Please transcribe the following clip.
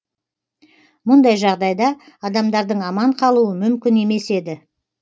мұндай жағдайда адамдардың аман қалуы мүмкін емес еді